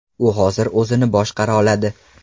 U hozir o‘zini boshqara oladi.